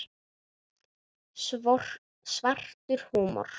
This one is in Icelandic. Svartur húmor.